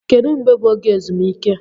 Kedu mgbe bụ oge ezumike?